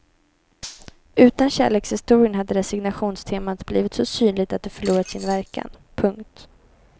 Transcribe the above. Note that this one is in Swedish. Utan kärlekshistorien hade resignationstemat blivit så synligt att det förlorat sin verkan. punkt